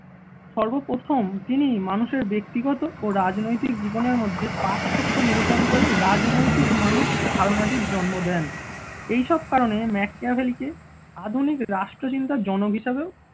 সর্বপ্রথম তিনি মানুষের ব্যক্তিগত ও রাজনৈতিক জীবনের মধ্যে পার্থক্য নিরূপণ করে রাজনৈতিক মানুষ ধারণাটির জন্ম দেন এইসব কারণে ম্যাকিয়াভেলিকে আধুনিক রাষ্ট্রচিন্তার জনক হিসেবেও